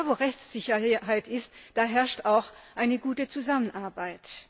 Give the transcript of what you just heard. Denn da, wo Rechtssicherheit ist, da herrscht auch eine gute Zusammenarbeit.